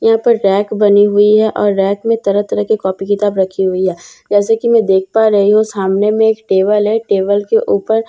यहां पर रैक बनी हुई है और रैक में तरह तरह की कॉपी किताब रखी हुई है जैसे कि मैं देख पा रही हूं सामने में एक टेबल है टेबल के ऊपर एक --